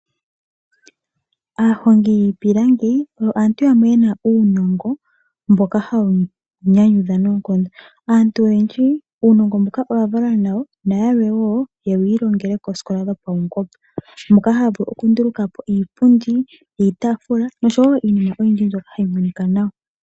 Aahongi yiipilangi, oyo aantu yamwe yena uunongo mboka hawu nyanyudha noonkondo. Aantu oyendji uunongo mbuka oya valwa nawo, nayalwe wo oyewi ilongele koosikola dhopaungomba, moka haya vulu okunduluka po iipundi, iitaafula, noshowo iinima oyindji mbyoka hayi monika nawa.